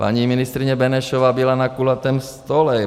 Paní ministryně Benešová byla na kulatém stole.